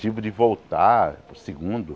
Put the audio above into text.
Tive de voltar para o segundo.